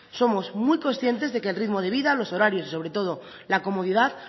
somos muy conscientes de que el ritmo de vida los horarios y sobre todo la comodidad